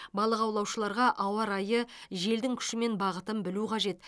балық аулаушыларға ауа райы желдің күші мен бағытын білу қажет